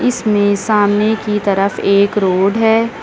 इसमें सामने की तरफ एक रोड है।